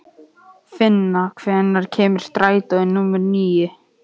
Finna, hvenær kemur strætó númer níu?